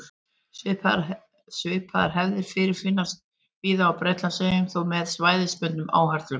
Svipaðar hefðir fyrirfinnast víða á Bretlandseyjum, þó með svæðisbundnum áherslum.